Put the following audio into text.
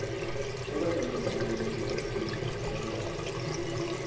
abanamathalente athize abangahle